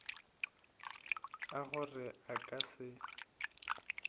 a gore a ka se